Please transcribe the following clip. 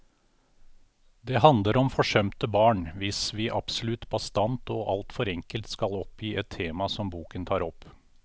Det handler om forsømte barn, hvis vi absolutt bastant og alt for enkelt skal oppgi et tema som boken tar opp.